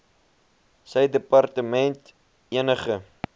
sy departement enige